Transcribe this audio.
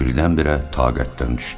O birindən-birə taqətdən düşdü.